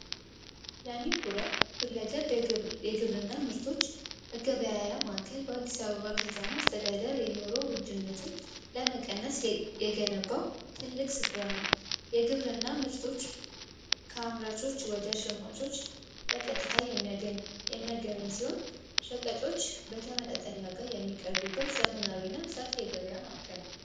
ለሚኩራ ሁለገብ የግብርና ምርቶች መገበያያ ማዕከል በአዲስ አበባ ከተማ አስተዳደር የኑሮ ውድነትን ለመቀነስ የገነባው ትልቅ ስፍራ ነው። የግብርና ምርቶች ከአምራቾች ወደ ሸማቾች በቀጥታ የሚያገናኝ ሲሆን፤ ሸቀጦች በተመጣጣኝ ዋጋ የሚቀቡበት ዘመናዊና ሰፊ የገበያ ማዕከል ነው።